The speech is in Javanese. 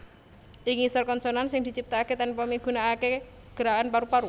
Ing ngisor konsonan sing diciptakaké tanpa migunakaké gerakan paru paru